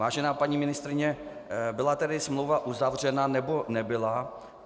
Vážená paní ministryně, byla tedy smlouva uzavřena, nebo nebyla?